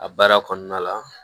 A baara kɔnɔna la